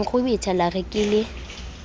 nkgwebetha la re ke le